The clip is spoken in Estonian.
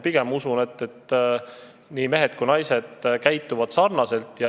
Pigem usun, et mehed ja naised käituvad sarnaselt.